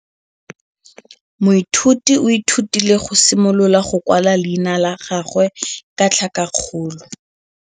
Moithuti o ithutile go simolola go kwala leina la gagwe ka tlhakakgolo.